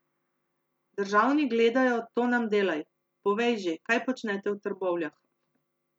Državni gledajo, to nam delaj, povej že, kaj počnete v Trbovljah.